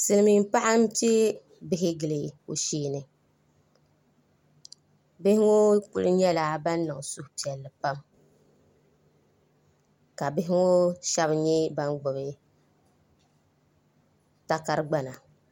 silimiin’paɣa m-pe bihi gili o shee-ni bihi ŋɔ kuli nyɛla ban niŋ suhupiɛlli pam ka bihi shɛba nyɛ ban gbubi takar’ gbana